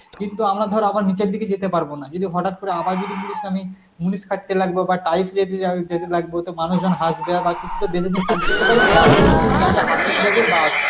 কিন্তু আমরা ধর আবার নিচের দিকে যেতে পারবো না যদি হঠাৎ করে আবার যদি বলিস আমি মুনিষ খাটতে লাগবো বা টাইস লে দিয়াই যেতে লাগবো তো মানুষজন হাসবে আর তুই তো বেশি দিন কাজ করতে পারবি নি, একদিন দুদিন যাবি হাপিং যাবি বাস